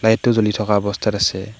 Light টো জ্বলি থকা অৱস্থাত আছে।